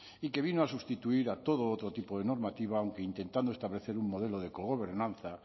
y que vino a sustituir a todo otro tipo de normativa aunque intentando establecer un modelo de cogobernanza